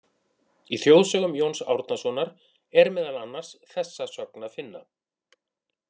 Í Þjóðsögum Jóns Árnasonar er meðal annars þessa sögn að finna: